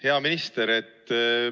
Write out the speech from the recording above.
Hea minister!